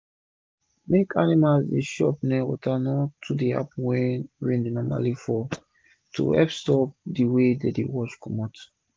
mak animals dey chop nia rivers no too dey happen wen rain dey normali fall to hep stop de san-san wey dey wash comot